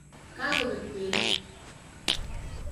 Ka kopek peek.